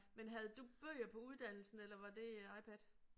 Men havde du bøger på uddannelsen eller var det iPad?